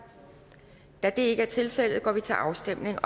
da det ikke er tilfældet går vi til afstemning